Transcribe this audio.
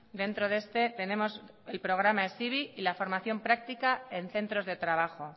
dentro de este tenemos el programa hezibi y la formación práctica en centros de trabajo